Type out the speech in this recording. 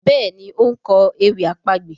Béèni o nkọ ewì àpagbè.